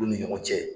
Olu ni ɲɔgɔn cɛ